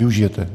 Využije.